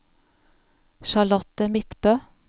Charlotte Midtbø